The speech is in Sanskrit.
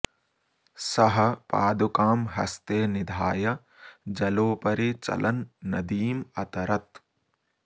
सः पादुकां हस्ते निधाय जलोपरि चलन् नदीम् अतरत्